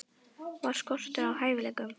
Var skortur á hæfileikum?